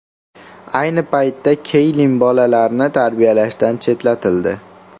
Ayni paytda Keylin bolalarni tarbiyalashdan chetlatildi.